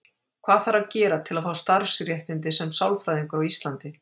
Hvað þarf að gera til að fá starfsréttindi sem sálfræðingur á Íslandi?